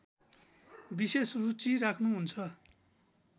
विशेष रुचि राख्‍नुहुन्छ